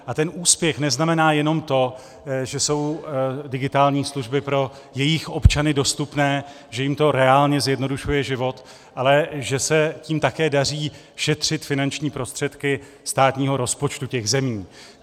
A ten úspěch neznamená jenom to, že jsou digitální služby pro jejich občany dostupné, že jim to reálně zjednodušuje život, ale že se tím také daří šetřit finanční prostředky státního rozpočtu těch zemí.